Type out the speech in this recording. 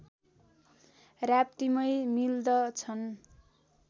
राप्तीमै मिल्दछन्